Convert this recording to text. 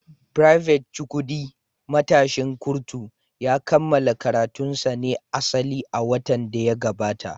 Private Chukwudi, matashin kurtu, ya kammala karatunsa na asali a watan da ya gabata.